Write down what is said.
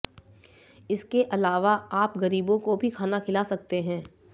इसके अलावा आप गरीबों को भी खाना खिला सकते हैं